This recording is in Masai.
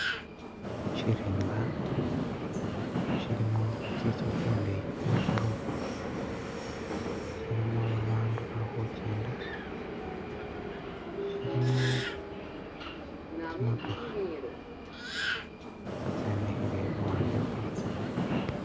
Shirimba shilimo tsintsu tsindeyi tsetsigorofa shilimo abantu balikhujenda shilimo tsimootokha tso tsemikhile luwande lwatso